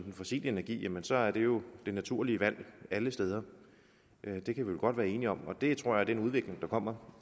den fossile energi så er det jo det naturlige valg alle steder det kan vi vel godt være enige om og det tror jeg er en udvikling der kommer